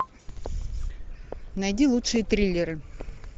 найди лучшие триллеры